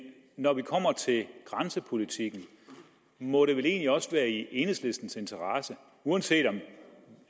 når vi kommer til grænsepolitikken må den vel egentlig også være i enhedslistens interesse uanset